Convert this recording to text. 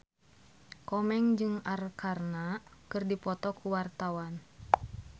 Komeng jeung Arkarna keur dipoto ku wartawan